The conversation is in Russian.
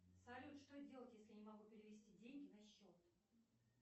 салют что делать если я не могу перевести деньги на счет